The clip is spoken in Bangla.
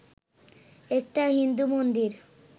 একটা হিন্দু মন্দির